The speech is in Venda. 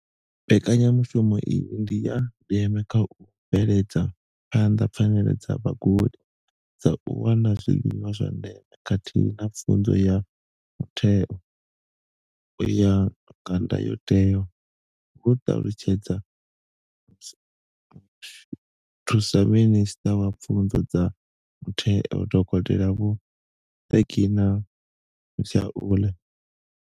Mbekanya mushumo iyi ndi ya ndeme kha u bveledza phanḓa pfanelo dza vhagudi dza u wana zwiḽiwa zwa ndeme khathihi na pfunzo ya mutheo u ya nga ndayotewa, hu ṱalutshedza Muthusaminisṱa wa Pfunzo dza Mutheo, Dokotela Vho Reginah Mhaule.